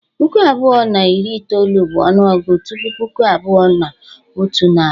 Puku abụọ na iri itoolu bụ ọnụọgụ tupu Puku abụọ na otu nari.